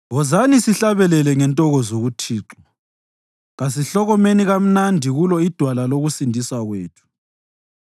Wozani sihlabelele ngentokozo kuThixo; kasihlokomeni kamnandi kulo iDwala lokusindiswa kwethu.